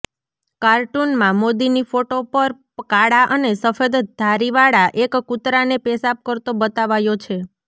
કાર્ટૂનમાં મોદીની ફોટો પર કાળા અને સફેદ ધારીવાળા એક કૂતરાને પેશાબ કરતો બતાવાયો છે